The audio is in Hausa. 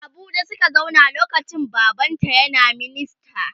A Abuja Suka zauna lokacin baban ta ƴan a minista